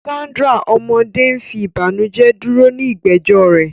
Sandra, ọmọdé, ń fi ìbànújẹ́ dúró de ìgbẹ́jọ́ rẹ̀.